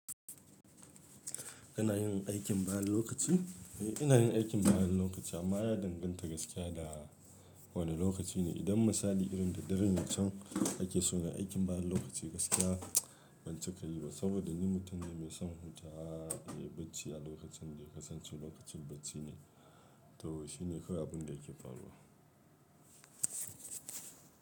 Kana yin aikin bayan lokaci? Eh, ina yin aikin bayan lokaci amma ya danganta gaskiya da wane lokaci ne. Idan misali irin da dare can, ake so na aikin bayan lokaci gaskiya ban cika yi ba saboda ni mutum ne mai son hutawa. Eh, bacci a lokacin da kasance lokacin bacci ne, to shi ne kawai abin da yake faruwa.